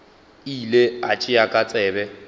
ile a tšea ka tsebe